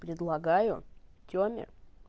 предлагаю тёме